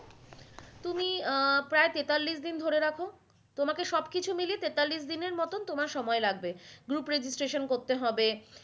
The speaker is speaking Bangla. তুমি আহ প্রায় তেতাল্লিশ দিন ধরে রাখো তোমাকে সব কিছু মিলিয়ে তেতাল্লিশ দিনের মতো তোমার সময় লাগবে group registration করতে হবে।